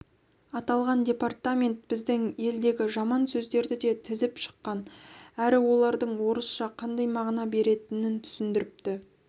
аталған департамент біздің елдегі жаман сөздерді де тізіп шыққан әрі олардың орысша қандай мағына беретінін түсіндіріпті